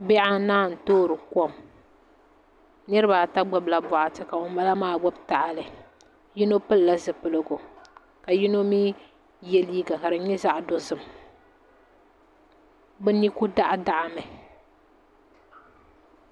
Bihi anahi n toori kom niraba ata gbubila boɣati ka ŋunbala maa gbubi tahali yino pilila zipiligu ka yino mii yɛ liiga ka di nyɛ zaɣ dozim bi ni ku daɣadaɣa mi